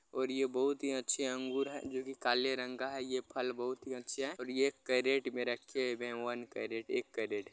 ओर ये बहुत हि अच्छे अंगूर है जो के काले रंग का है। ये फल बहुत हि अच्छे हैं और ये कैरेट में रखे हुए है। वन कैरेट एक कैरेट ।